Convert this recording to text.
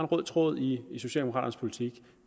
rød tråd i socialdemokraternes politik